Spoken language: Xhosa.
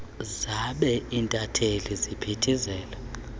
zabe intatheli ziphithizela